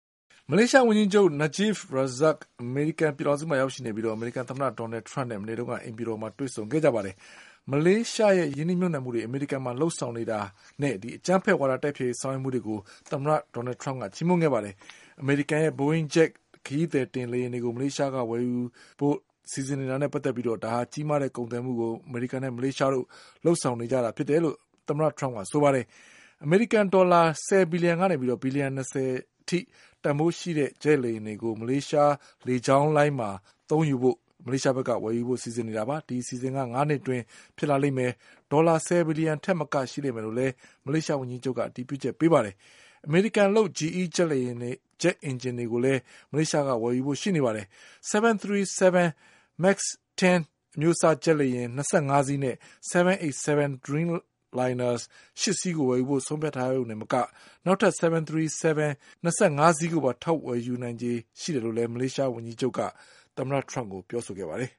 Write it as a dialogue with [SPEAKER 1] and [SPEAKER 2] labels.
[SPEAKER 1] မလေးရှား ဝန်ကြီးချုပ် Najib Razak အမေရိကန် ပြည်ထောင်စုမှာ ရောက်ရှိနေပြီး အမေရိကန် သမ္မတ ဒေါ်နလ်ထရမ့်နဲ့ မနေ့က အိမ်ဖြူတော်မှာ တွေ့ဆုံခဲ့ပါတယ်။ မလေးရှားရဲ့ ရင်းနှီးမြုပ်နှံမှုတွေ အမေရိကန်မှာ လုပ်ဆောင်နေတာနဲ့အကြမ်းဖက်ဝါဒ တိုက်ဖျက်ရေး ဆောင်ရွက်မှုတွေကို သမ္မတထရမ့်က ချီးမွမ်းခဲ့ပါတယ်။ အမေရိကန်ရဲ့ Boeing ဂျက် ခရီးသည်တင် လေယာဉ်တွေကို မလေးရှားက ဝယ်ယူခဲ့တာနဲ့ ပတ်သက်ပြီး ကြီးမားတဲ့ ကုန်သွယ်မှုကို အမေရိကန်နဲ့ မလေးရှားတို့ လုပ်ဆောင်နေကြ တယ်လို့ သမ္မတ ထရမ့်က ပြောပါတယ်။ အမေရိကန် ဒေါ်လာ ၁၀ ဘီလီယံ ကနေ ဘီလီယံ ၂၀ အထိ တန်ဘိုးရှိတဲ့ ဂျက်လေယာဉ်တွေကို မလေးရှား လေကြောင်းမှာ သုံးယူဖို့ဝယ်ယူနေတာပါ။ ဒီအစီအစဉ်က ၅ နှစ် အတွင်းဖြစ်လာမယ်၊ ဒေါ်လာ ၁၀ ဘီလီယံ ထက်မက ရှိလိမ့်မယ် လို့လည်း မလေးရှား ဝန်ကြီးချုပ်က အတည်ပြုချက် ပေးပါတယ်။ အမေရိကန်လုပ် GE ဂျက်အင်ဂျင်တွေလည်း မလေးရှားက ဝယ်ယူဖို့ ရှိနေပါတယ်။ 737 Max-10 အမျိုးအစား ဂျက်လေယာဉ် ၂၅ စီးနဲ့787 Dreamliners ၈ စီးကို ဝယ်ဖို့ ဆုံးဖြတ်ထားရုံတင် မက နောက်ထပ် 737 Max-10 ၂၅ စီး ကိုပါ ထပ်ဝယ်ဖို့ဖြစ်နိုင်ခြေ ရှိတယ်လို့ မလေးရှား ဝန်ကြီးချုပ် Najib Razak က သမ္မတ ထရမ့်ကို ပြောခဲ့ပါတယ်